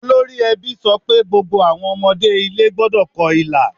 Olórí ẹbí sọ pé gbogbo àwọn ọmọdé ilé gbọ́dọ̀ kọ ilà.